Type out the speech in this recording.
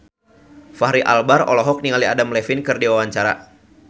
Fachri Albar olohok ningali Adam Levine keur diwawancara